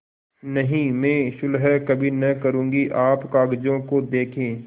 नहीं मैं सुलह कभी न करुँगी आप कागजों को देखें